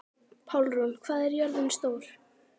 Pálrún, hvað er jörðin stór?